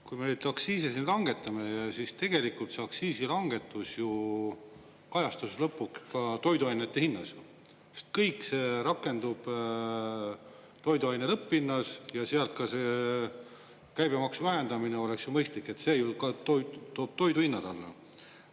Kui me elektriaktsiisi langetamine, siis tegelikult see aktsiisilangetus kajastus lõpuks ka toiduainete hinnas, sest kõik see rakendub toiduaine lõpphinnas ja sealt ka see käibemaksu vähendamine oleks ju mõistlik, sest see ju toob toiduhinnad alla.